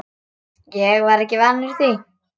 Ég var ekki vanur því.